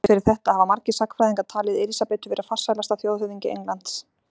Þrátt fyrir þetta hafa margir sagnfræðingar talið Elísabetu vera farsælasta þjóðhöfðingja Englands.